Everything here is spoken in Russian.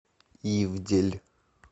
ивдель